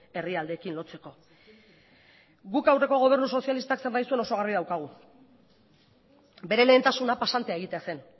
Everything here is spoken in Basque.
herrialdeekin lotzeko guk aurreko gobernu sozialistak zer nahi zuen oso garbi daukagu bere lehentasuna pasantea egitea zen